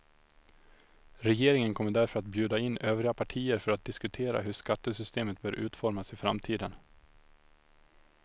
Regeringen kommer därför att bjuda in övriga partier för att diskutera hur skattesystemet bör utformas i framtiden.